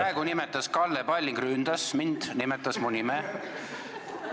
Aga praegu nimetas Kalle Palling, ta ründas mind, ta nimetas mu nime.